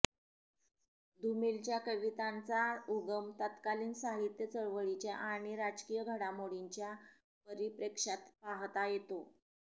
धूमिलच्या कवितांचा उगम तत्कालिन साहित्य चळवळींच्या आणि राजकीय घडामोडींच्या परिप्रेक्ष्यात पाहता येतो